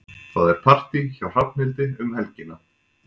Það er partí hjá Hrafnhildi um helgina.